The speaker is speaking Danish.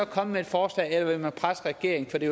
komme med et forslag eller vil man presse regeringen for det